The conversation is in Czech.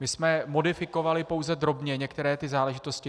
My jsme modifikovali pouze drobně některé ty záležitosti.